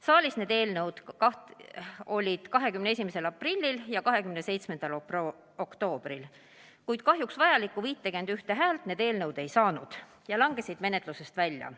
Saalis olid eelnõud 21. aprillil ja 27. oktoobril, kuid kahjuks need vajalikku 51 häält ei saanud ja langesid menetlusest välja.